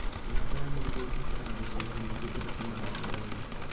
Mĩramba ya marigũ ĩbataraga gũcehwo nĩguo ĩrute magetha mega